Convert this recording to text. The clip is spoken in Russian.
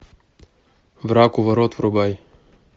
враг у ворот врубай